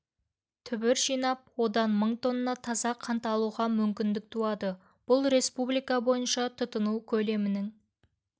түбір жинап одан мың тонна таза қант алуға мүмкіндік туады бұл республика бойынша тұтыну көлемінің